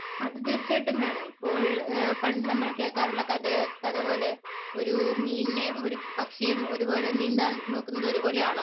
അത് തീർച്ചയായിട്ടും വേണം. ഇപ്പോൾ പണ്ട് നമ്മൾ കേൾക്കാറുള്ള കഥ പോലെ ഒരു മീനിനെയും ഒരു പക്ഷിയെയും ഒരുപോലെ, നീന്താൻ നോക്കുന്നത് ഒരുപോലെയാണോ